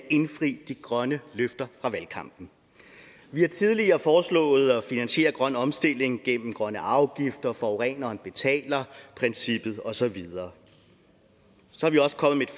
indfri de grønne løfter fra valgkampen vi har tidligere foreslået at finansiere den grønne omstilling igennem grønne afgifter forureneren betaler princippet og så videre så er vi også kommet